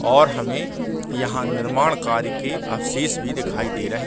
और हमें यहाँ निर्माण कार्य के अवशेष भी दिखाई दे रहे हैं।